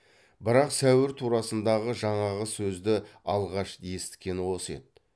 бірақ сәуір турасындағы жаңағы сөзді алғаш есіткені осы еді